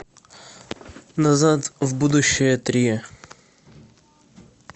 назад в будущее три